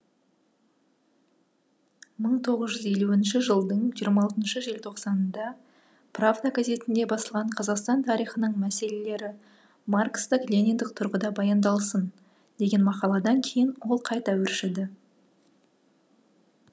мың тоғыз жүз елуінші жылдың жиырма алтыншы желтоқсанында правда газетінде басылған қазақстан тарихының мәселелері маркстік лениндік тұрғыда баяндалсын деген мақаладан кейін ол қайта өршіді